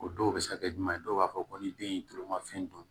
O dɔw bɛ se ka kɛ jumɛn ye dɔw b'a fɔ ko ni den ye tulu ma fɛn dun